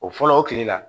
O fɔlɔ o kile la